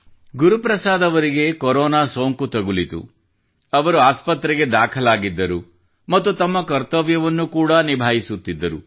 ಗುರು ಪ್ರಸಾದ್ ಅವರಿಗೆ ಕೊರೋನಾ ಸೋಂಕು ತಗುಲಿತು ಅವರು ಆಸ್ಪತ್ರೆಗೆ ದಾಖಲಾಗಿದ್ದರು ಮತ್ತು ತಮ್ಮ ಕರ್ತವ್ಯವನ್ನು ಕೂಡಾ ನಿಭಾಯಿಸುತ್ತಿದ್ದರು